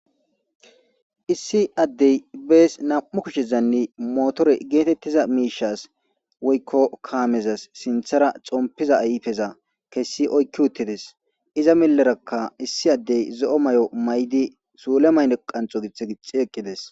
issi addey bees nam7u kushezanne motore geetettiza miishas woykko kaamezas sinthara xompiza ayfeza kessi oykki uttides iza millerakka issi addey zo7o may7o may7di suule mayne qanxo giththe gixi eqqides